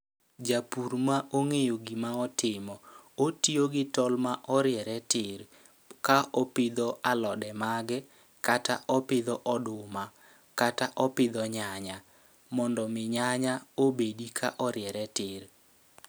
Japur ma ong'eyo gima otimo, otiyo gi tol ma oriere tir ka opidho alode mage kata opidho oduma kata opidho nyanya. Mondo mi nyanya obedi ka oriere tir.